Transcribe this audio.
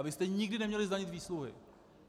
A vy jste nikdy neměli zdanit výsluhy.